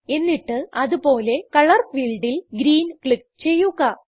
എന്നിട്ട് അത് പോലെ കളർ ഫീൽഡിൽ ഗ്രീൻ ക്ലിക്ക് ചെയ്യുക